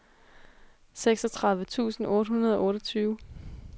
seksogtredive tusind otte hundrede og otteogtyve